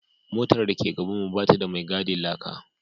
Motar da ke gabanmu ba ta da mai gadin laka